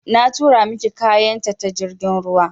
Na turo miki kayan ta jirgin ruwa.